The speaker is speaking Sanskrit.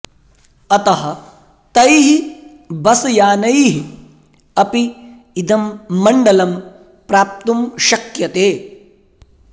अतः तैः बसयानैः अपि इदं मण्डलं प्राप्तुं शक्यते